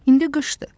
İndi qışdır.